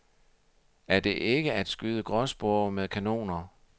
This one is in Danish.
Er det ikke at skyde gråspurve med kanoner.